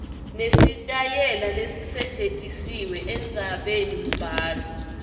nesitayela lesisetjentisiwe endzabenimbhalo